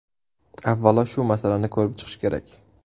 Avvalo shu masalani ko‘rib chiqish kerak.